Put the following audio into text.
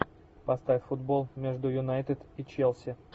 поставь футбол между юнайтед и челси